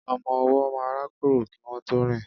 Ọmọ ọwọ́ máa ń rákórò kí wọn tó rìn